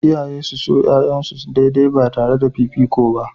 Iyaye su so 'ya'yansu daidai ba tare da fifiko ba.